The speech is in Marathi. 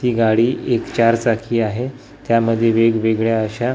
ही गाडी एक चार चाकी आहे त्यामधे वेगवेगळ्या अशा--